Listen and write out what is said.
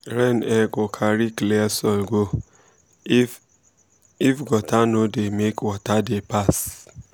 rain um go carry clear soil go if if gutter no dey make water dey pass